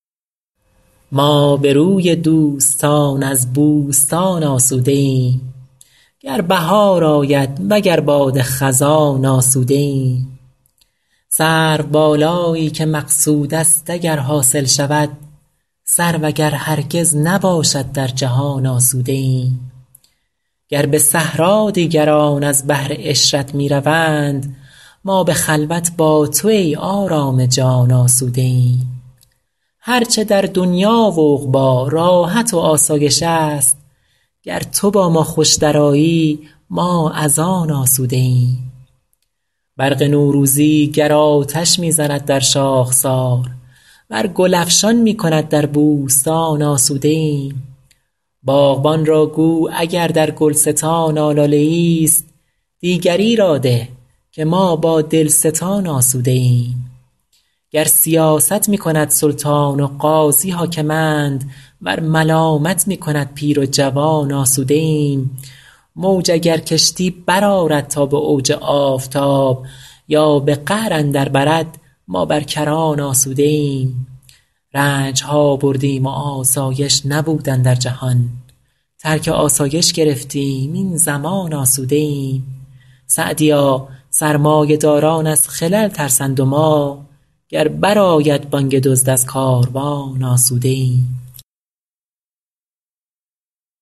ما به روی دوستان از بوستان آسوده ایم گر بهار آید وگر باد خزان آسوده ایم سروبالایی که مقصود است اگر حاصل شود سرو اگر هرگز نباشد در جهان آسوده ایم گر به صحرا دیگران از بهر عشرت می روند ما به خلوت با تو ای آرام جان آسوده ایم هر چه در دنیا و عقبی راحت و آسایش است گر تو با ما خوش درآیی ما از آن آسوده ایم برق نوروزی گر آتش می زند در شاخسار ور گل افشان می کند در بوستان آسوده ایم باغبان را گو اگر در گلستان آلاله ایست دیگری را ده که ما با دلستان آسوده ایم گر سیاست می کند سلطان و قاضی حاکمند ور ملامت می کند پیر و جوان آسوده ایم موج اگر کشتی برآرد تا به اوج آفتاب یا به قعر اندر برد ما بر کران آسوده ایم رنج ها بردیم و آسایش نبود اندر جهان ترک آسایش گرفتیم این زمان آسوده ایم سعدیا سرمایه داران از خلل ترسند و ما گر بر آید بانگ دزد از کاروان آسوده ایم